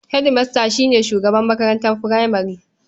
Hedimasta shi ne shugaban makarantar furamare.